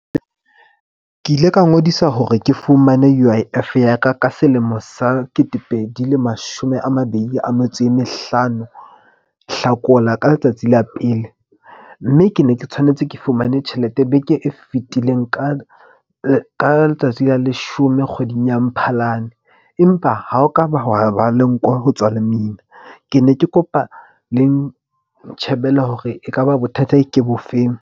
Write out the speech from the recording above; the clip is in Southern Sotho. Ke ile ka ngodisa hore ke fumane U_I_F-e ya ka ka selemo sa ketepedi le mashome a mabedi a metso e mehlano, Hlakola ka letsatsi la pele. Mme ke ne ke tshwanetse ke fumane tjhelete beke e fetileng ka letsatsi la leshome kgweding ya Mphalane. Empa ha ho ka ba hwa ba le nko ho tswa lemina. Ke ne ke kopa le nke ntjhebele hore ekaba bothata ke bofeng.